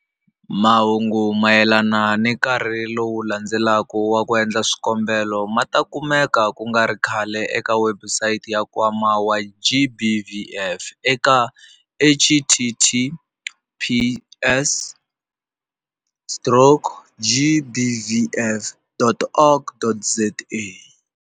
Mahungu mayelana na nkarhi lowu landzelaka wo endla swikombelo ma ta kumeka ku nga ri khale eka webusayiti ya Nkwama wa GBVF eka- https stroke gbvf.org.za.